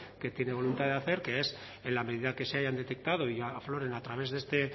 que tiene voluntad de hacer que es en la medida que se hayan detectado y afloren a través de este